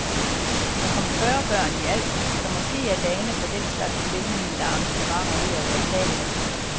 Der kom fyrre børn i alt, så måske er dagene for den slags velmente arrangementer ved at være talte.